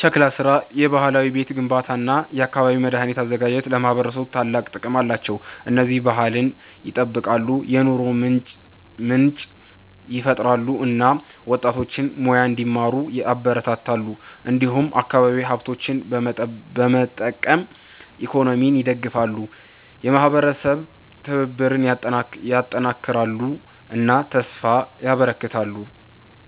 ሸክላ ስራ፣ የባህላዊ ቤት ግንባታ እና የአካባቢ መድኃኒት አዘጋጅት ለማህበረሰብ ታላቅ ጥቅም አላቸው። እነዚህ ባህልን ይጠብቃሉ፣ የኑሮ ምንጭ ይፈጥራሉ እና ወጣቶችን ሙያ እንዲማሩ ያበረታታሉ። እንዲሁም አካባቢያዊ ሀብቶችን በመጠቀም ኢኮኖሚን ይደግፋሉ፣ የማህበረሰብ ትብብርን ያጠናክራሉ እና ተስፋ ያበረክታሉ።